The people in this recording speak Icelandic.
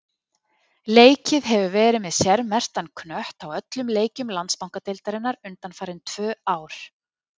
Leikið hefur verið með sérmerktan knött á öllum leikjum Landsbankadeildarinnar undanfarin tvö ár.